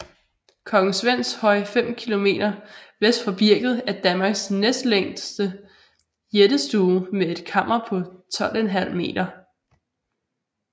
Kong Svends Høj 5 km vest for Birket er Danmarks næstlængste jættestue med et kammer på 12½ m